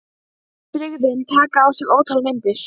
Kannski er allt venjulegt fólk líka óvenjulegt.